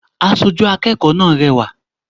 Asojú akẹ́kọ̀ọ́ náà rẹwà